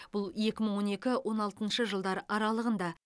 бұл екі мың он екі он алтыншы жылдар аралығында